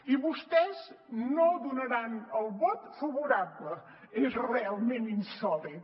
i vostès no hi donaran el vot favorable és realment insòlit